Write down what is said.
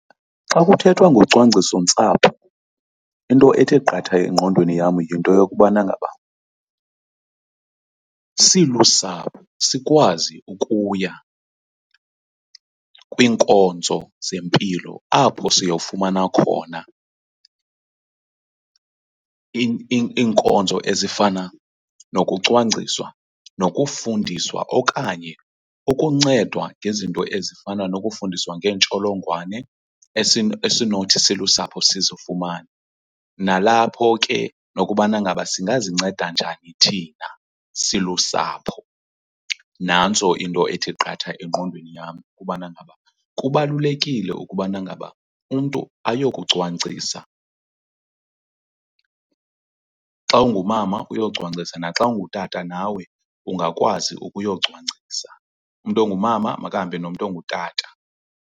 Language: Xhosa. Xa kuthethwa ngocwangcisontsapho into ethe qatha engqondweni yam yinto yokubana ngaba silusapho sikwazi ukuya kwiinkonzo zempilo apho siyofumana khona iinkonzo ezifana nokucwangciswa, nokufundiswa okanye ukuncedwa ngezinto ezifana nokufundiswa ngeentsholongwane esinothi silusapho sizifumane. Nalapho ke nokubana ngaba singazinceda njani thina silusapho. Nantso into ethi qatha engqondweni yam, ukubana ngaba kubalulekile ukubana ngaba umntu ayokucwangcisa. Xa ungumama uyocwangcisa naxa ungutata nawe ungakwazi ukuyocwangciso, umntu ongumama makahambe nomntu ongutata.